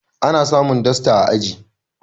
ana samun dasta a aji